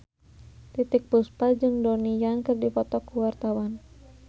Titiek Puspa jeung Donnie Yan keur dipoto ku wartawan